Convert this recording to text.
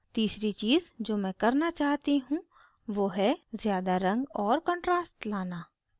तीसरी चीज़ जो मैं करना चाहती हूँ वो है ज़्यादा रंग और contrast लाना